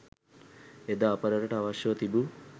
එදා අප රටට අවශ්‍යව තිබූ